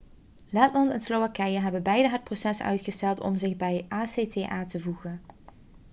letland en slowakije hebben beide het proces uitgesteld om zich bij acta te voegen